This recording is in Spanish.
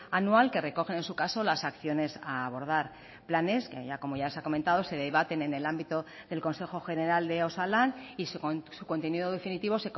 anual que recogen en su caso las acciones a abordar planes que como ya se ha comentado se debaten en el ámbito del consejo general de osalan y su contenido definitivo